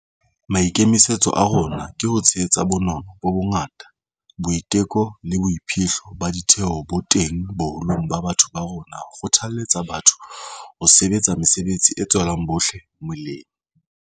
Maikemisetso a rona ke ho tshehetsa bonono bo bongata, boiteko le boiphihlo ba ditheho bo teng boholong ba batho ba rona ho kgothaletsa batho ho sebetsa mesebetsi e tswelang bohle melemo.